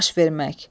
Baş vermək.